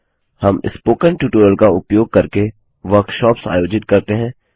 हम spoken tutorial का उपयोग करके वर्कशॉप्स कार्यशालाएँआयोजित करते हैं